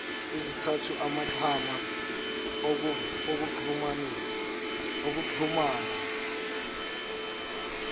ezithinta amaxhama okuxhumana